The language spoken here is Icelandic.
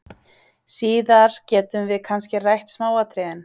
Síðar getum við kannski rætt smáatriðin.